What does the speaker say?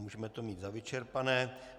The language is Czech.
Můžeme to mít za vyčerpané.